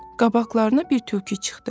Qabaqlarına bir tülkü çıxdı.